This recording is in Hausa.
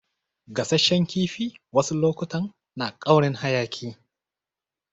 Gasashen kifi wasu lokutan na ƙaurin hayaki.